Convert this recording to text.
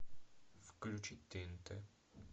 включи тнт